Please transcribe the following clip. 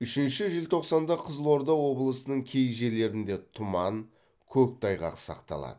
үшінші желтоқсанда қызылорда облысының кей жерлерінде тұман көктайғақ сақталады